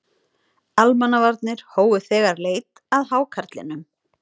Almannavarnir hófu þegar leit að hákarlinum